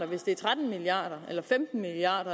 hvis det er tretten milliard eller femten milliard